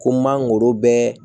Ko n man goro bɛɛ